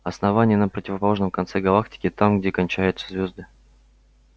основание на противоположном конце галактики там где кончаются звезды